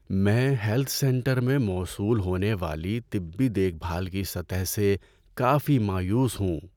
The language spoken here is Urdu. میں ہیلتھ سینٹر میں موصول ہونے والی طبی دیکھ بھال کی سطح سے کافی مایوس ہوں۔